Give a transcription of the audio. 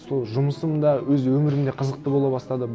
сол жұмысым да өз өмірім де қызықты бола бастады